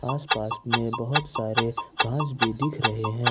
आस पास में बहोत सारे घास भी दिख रहे हैं।